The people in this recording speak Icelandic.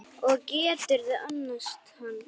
Og geturðu annast hann?